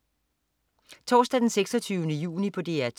Torsdag den 26. juni - DR 2: